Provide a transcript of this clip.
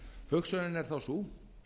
hugsunin er þá sú